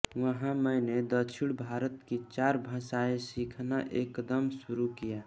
वहां मैंने दक्षिण भारत की चार भाषाएं सीखना एकदम शुरू किया